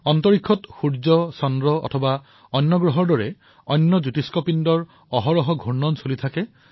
অন্তৰীক্ষত সূৰ্য চন্দ্ৰ তথা অন্যান্য গ্ৰহৰ দৰে স্বগোলীয় পিণ্ড পৰিভ্ৰমণ কৰি থাকে